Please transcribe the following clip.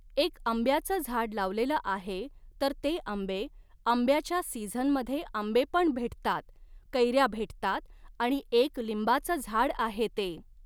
एक आंब्याचं झाड लावलेलं आहे तर ते आंबे, आंब्याच्या सिझनमध्ये आंबेपण भेटतात, कैऱ्या भेटतात आणि एक लिंबाचं झाड आहे ते